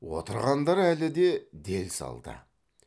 отырғандар әлі де дел салда